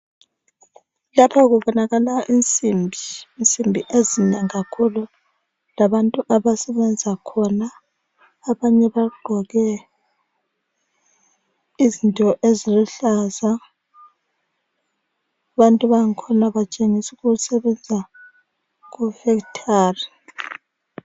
Lapha kubonakala insimbi, insimbi ezinengi kakhulu labantu abasebenza khona abanye bagqoke izinto eziluhlaza. Abantu bangikhona batshengisa ukuthi basebenza kufekithali.